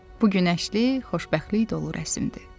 Bu günəşli, xoşbəxtlik dolu rəsmidir.